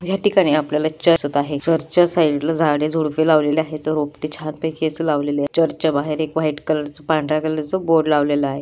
या ठिकाणी आपल्याला चर्च दिसत आहे चर्च चा साइड ला झाडे झुड्पे लावलेले आहेत रोपटे चर्च च्या बाहेर एक व्हाइट कलर च पांढर्‍या कलर च बोर्ड लावलेला आहे.